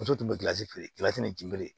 Muso tun bɛ gilansi feere jeli